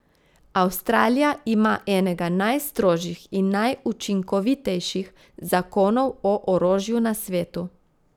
Avstralija ima enega najstrožjih in najučinkovitejših zakonov o orožju na svetu.